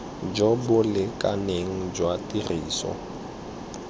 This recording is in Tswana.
jo bo lekaneng jwa tiriso